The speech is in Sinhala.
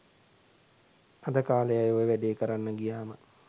අද කාලෙ අය ඔය වැඩේ කරන්න ගියාම